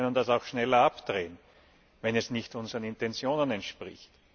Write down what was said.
Ja, aber wir können das auch schneller abdrehen, wenn es nicht unseren Intentionen entspricht.